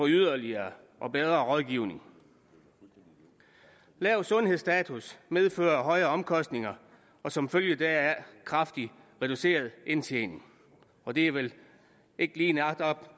yderligere og bedre rådgivning lav sundhedsstatus medfører højere omkostninger og som følge deraf kraftig reduceret indtjening og det er vel ikke lige netop